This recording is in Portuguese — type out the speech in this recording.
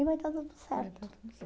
E vai estar tudo certo. Vai dar tudo